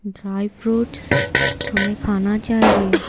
Dry fruits हमें खाना चाहिए।